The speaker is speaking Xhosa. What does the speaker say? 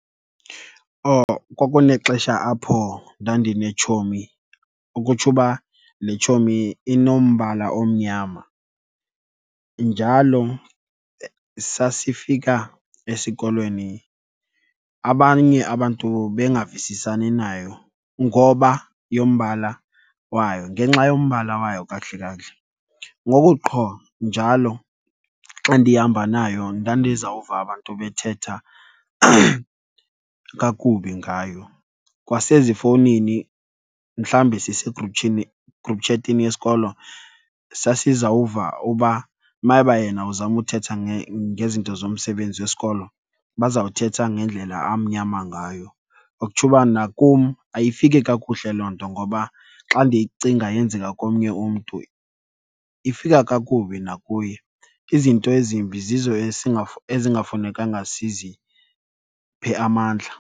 Oh kwakunexesha apho ndandinetshomi, ukutsho uba le tshomi inombala omnyama. Njalo sasifika esikolweni abanye abantu bengavisisani nayo ngoba yombala wayo, ngenxa yombala wayo kakuhle kakuhle. Ngoku qho njalo xa ndihamba nayo ndandizawuva abantu bethetha kakubi ngayo. Kwasezifowunini, mhlawumbi sisegruphini , gruphi tshetini yesikolo sasizawuva uba mayeba yena uzama uthetha ngezinto zomsebenzi wesikolo bazawuthetha ngendlela amnyama ngayo. Okutsho uba nakum ayifiki kakuhle loo nto, ngoba xa ndiyicinga yenzeka komnye umntu ifika kakubi nakuye. Izinto ezimbi zizo ezingafunekanga siziphe amandla.